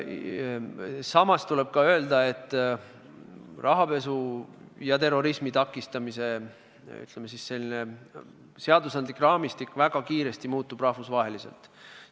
Samas tuleb öelda, et rahapesu ja terrorismi takistamise seadusandlik raamistik muutub rahvusvaheliselt väga kiiresti.